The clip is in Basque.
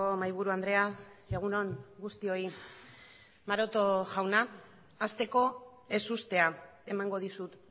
mahaiburu andrea egun on guztioi maroto jauna hasteko ezustea emango dizut